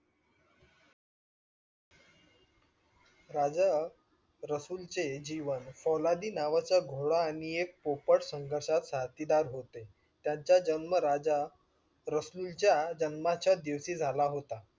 राजा रसूल चे जीवन फौलादी नावाच्या घोडा आणि एक पोपट संघर्षात साथीदार होते. त्यांचा जन्म राजा रसूल च्या जन्माच्या दिवशी झाला होता.